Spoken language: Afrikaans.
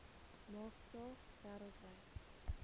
maak saak wêreldwyd